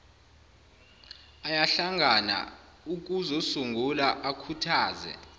ayahlangana ukuzosungula akhuthaze